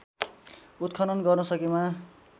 उत्खनन् गर्न सकेमा